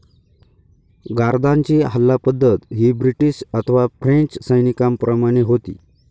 गार्द्यांची हल्ला पद्धत ही ब्रिटीश अथवा फ्रेंच सैनीकांप्रमाने होती.